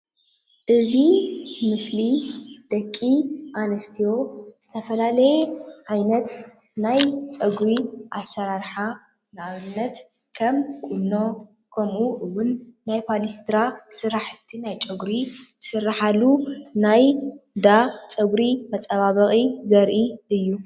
እዚ ምስሊ ደቂ ኣንስትዮ ዝተፈላለየ ዓይነት ናይ ፀጉሪ ዓይነት ኣሰራርሓ ንኣብነት ከም ቁኖ ከምኡ እዉን ናይ ፓሌስትራ ስራሕቲ ናይ ፀጉሪ ዝስራሓሉ ናይ እንዳ ፀጉሪ መፀባበቒ ዘርኢ እዩ፡፡